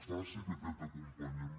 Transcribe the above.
faci que aquest acompanyament